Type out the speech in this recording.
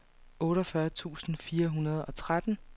otteogfyrre tusind fire hundrede og tretten